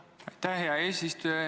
Aitäh, hea eesistuja!